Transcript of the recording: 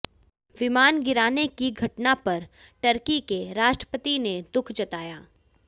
विमान गिराने की घटना पर तुर्की के राष्ट्रपति ने दुःख जताया